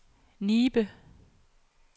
Nibe